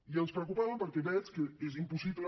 i ens preocupaven perquè veig que és impossible